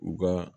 U ka